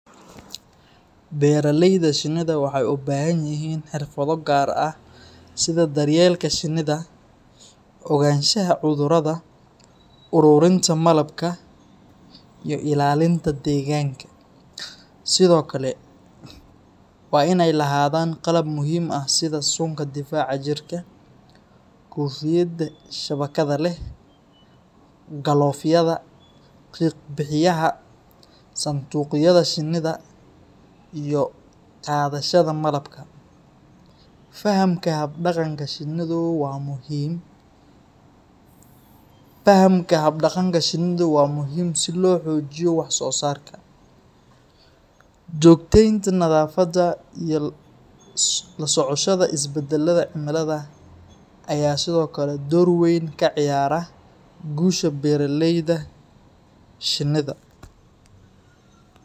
Beeralayda shinnida waxay u baahan yihiin xirfado gaar ah sida daryeelka shinnida, ogaanshaha cudurrada, ururinta malabka, iyo ilaalinta deegaanka. Sidoo kale, waa in ay lahaadaan qalab muhiim ah sida suunka difaaca jirka, koofiyadda shabakadda leh, galoofyada, qiiq-bixiyaha , sanduuqyada shinnida, iyo qaadayaasha malabka. Fahamka hab-dhaqanka shinnidu waa muhiim si loo xoojiyo wax-soosaarka. Joogtaynta nadaafadda iyo la socoshada isbeddelada cimilada ayaa sidoo kale door weyn ka ciyaara guusha beeraleyda shinnida.